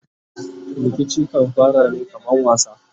Rikici kan fara ne kaman wasa